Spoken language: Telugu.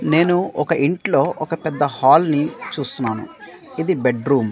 నేను ఒక ఇంట్లో ఒక పెద్ద హాల్ నీ చూస్తున్నాను ఇది బెడ్రూం .